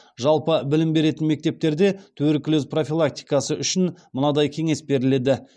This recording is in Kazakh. жалпы білім беретін мектептерде туберкулез профилактикасы үшін мынадай кеңес беріледі